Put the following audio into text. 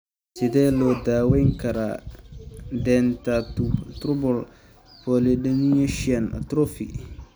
Sidee loo daweyn karaa dentatorubral pallidoluysian atrophy (DRPLA)?